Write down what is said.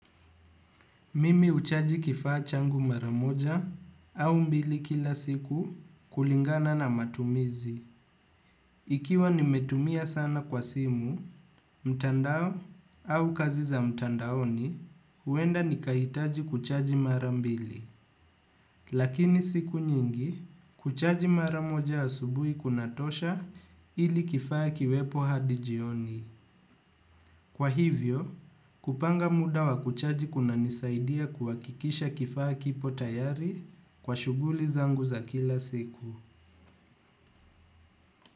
Mimi huchaji kifaa changu mara moja au mbili kila siku kulingana na matumizi. Ikiwa nimetumia sana kwa simu, mtandao au kazi za mtandaoni, huenda nikahitaji kuchaji marambili. Lakini siku nyingi, kuchaji mara moja asubuhi kunatosha ili kifaa kiwepo hadi jioni. Kwa hivyo, kupanga muda wa kuchaji kunanisaidia kuhakikisha kifaa kipo tayari kwa shuguli zangu za kila siku.